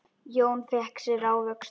Jón fékk sér ávöxt.